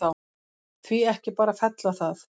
Því ekki bara fella það?